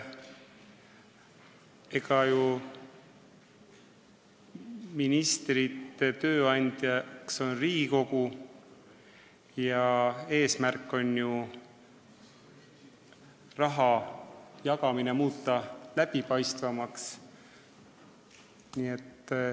Ministrite tööandja on Riigikogu ja eesmärk on ju muuta raha jagamine läbipaistvamaks.